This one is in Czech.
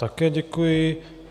Také děkuji.